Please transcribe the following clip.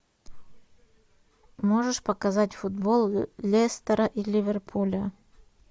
можешь показать футбол лестера и ливерпуля